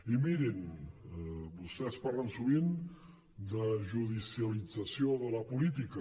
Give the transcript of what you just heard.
i mirin vostès parlen sovint de judicialització de la política